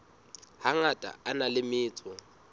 hangata a na le metso